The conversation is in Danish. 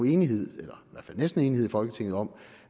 enighed eller næsten enighed i folketinget om